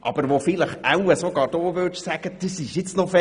Aber wahrscheinlich würden sogar Sie sagen, dass das ziemlich schlau war.